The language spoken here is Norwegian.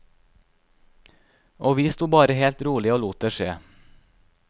Og vi sto bare helt rolig og lot det skje.